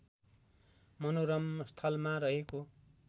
मनोरम स्थलमा रहेको